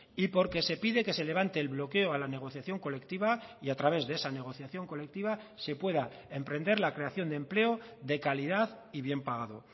y porque se pide que se levante el bloqueo a la negociación colectiva y a través de esa negociación colectiva se pueda emprender la creación de empleo de calidad y bien pagado